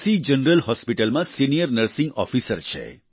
general hospital માં senior nursing officer છે